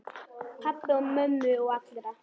Pabba og mömmu og allra.